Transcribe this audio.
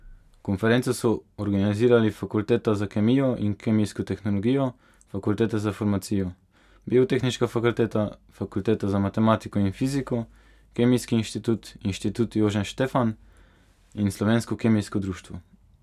Konferenco so organizirali Fakulteta za kemijo in kemijsko tehnologijo, Fakulteta za farmacijo, Biotehniška fakulteta, Fakulteta za matematiko in fiziko, Kemijski inštitut, Inštitut Jožef Štefan in Slovensko kemijsko društvo.